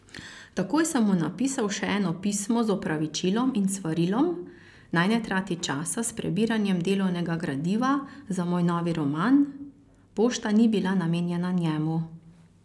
Takoj sem mu napisal še eno pismo z opravičilom in svarilom, naj ne trati časa s prebiranjem delovnega gradiva za moj novi roman, pošta ni bila namenjena njemu.